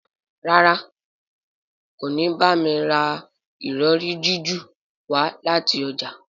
ràrá kò ní bámi rà Ìrọ̀rí jiju wá láti ọjà.